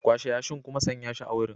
Kwashe yashin kuma sanya shi a wurin.